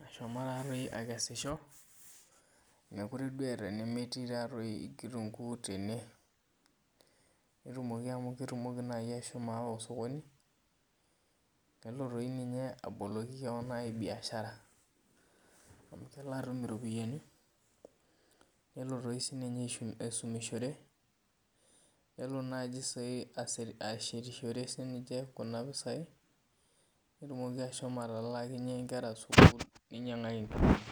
nashomo akeaisho mekute eeta enemetii kitunguu tene netumoki amu kidim ashomo ayawa osokoni nelo toi ninye aboloki keon biashara amu kelo atum iropiyiani nelo aisumiahore nelo ashietishore kuna pisai petumoki ashomo ainyangakinye nkera nkilani.